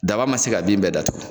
Daba ma se ka bin bɛɛ datugu.